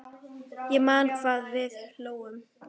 Ég man hvað við hlógum.